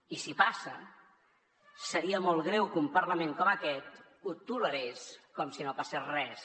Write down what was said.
i si passa seria molt greu que un parlament com aquest ho tolerés com si no passés res